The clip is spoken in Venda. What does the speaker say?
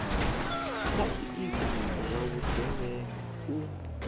kha zwiito zwa vhugevhenga u